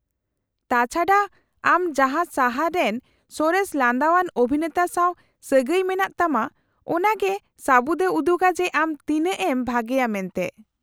-ᱛᱟᱪᱷᱟᱰᱟ , ᱟᱢ ᱡᱟᱦᱟᱸ ᱥᱟᱦᱟᱨ ᱨᱮᱱ ᱥᱚᱨᱮᱥ ᱞᱟᱸᱫᱟᱣᱟᱱ ᱚᱵᱷᱤᱱᱮᱛᱟ ᱥᱟᱶ ᱥᱟᱹᱜᱟᱹᱭ ᱢᱮᱱᱟᱜ ᱛᱟᱢᱟ ᱚᱱᱟ ᱜᱮ ᱥᱟᱵᱩᱛᱮ ᱩᱫᱩᱜᱟ ᱡᱮ ᱟᱢ ᱛᱤᱱᱟᱹᱜ ᱮᱢ ᱵᱷᱟᱜᱮᱭᱟ ᱢᱮᱱᱛᱮ ᱾